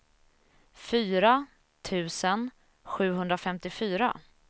fyra tusen sjuhundrafemtiofyra